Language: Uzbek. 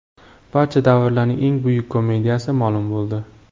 Barcha davrlarning eng buyuk komediyasi ma’lum bo‘ldi.